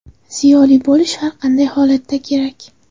Ziyoli bo‘lish har qanday holatda kerak.